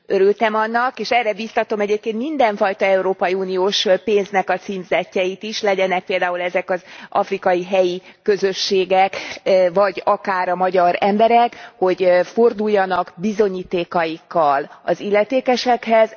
Örültem annak, és erre biztatom egyébként mindenfajta európai uniós pénznek a címzettjeit is, legyenek például ezek az afrikai helyi közösségek, vagy akár a magyar emberek, hogy forduljanak bizonyítékaikkal az illetékesekhez.